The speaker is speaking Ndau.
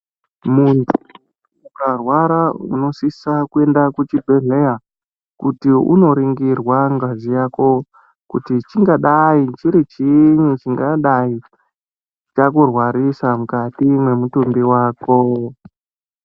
Muntu ukarwara unosisa kuenda ku chibhedhleya kuti uno ringirwa ngazi yako kuti chingadai chiri chinyi chingadai chaku rwarisa mukati mwe mutumbi wako.